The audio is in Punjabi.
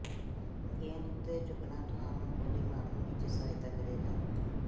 ਗੇਂਦ ਉੱਤੇ ਝੁਕਣਾ ਤੁਹਾਨੂੰ ਗੋਲੀ ਮਾਰਨ ਵਿੱਚ ਸਹਾਇਤਾ ਕਰੇਗਾ